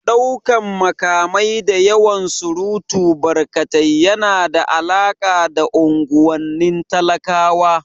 Ɗaukan makamai da yawan surutu barkatai yana da alaƙa da unguwannin talakawa